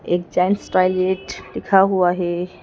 एक gent toilet लिखा हुआ है।